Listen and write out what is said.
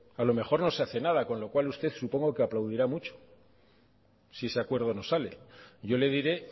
a lo mejor no se hace nada con lo cual usted supongo aplaudirá mucho si ese acuerdo no sale yo le diré